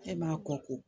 E b'a kɔ ko